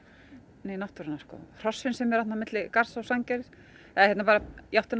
né náttúruna hrossin sem eru þarna á milli Garðs og Sandgerðis eða í áttina að